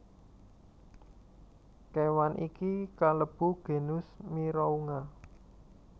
Kéwan iki kalebu genus Mirounga